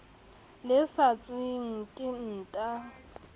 le sa tshelweng ke nta